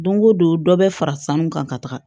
Don o don dɔ bɛ fara sanu kan ka taga